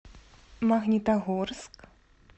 магнитогорск